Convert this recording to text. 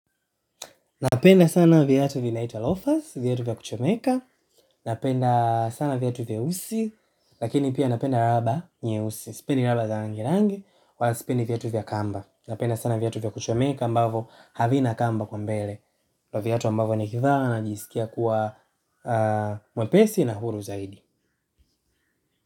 Napenda sana viatu vinaitwa lofas, viatu vya kuchomeka, napenda sana viatu vya vyeusi, lakini pia napenda raba nyeusi, sipendi raba za rangirangi, wala sipendi viatu vya kamba. Napenda sana viatu vya kuchomeka ambavo havina kamba huko mbele. Ndio viatu ambavo nikivaa najisikia kuwa mwepesi na huru zaidi.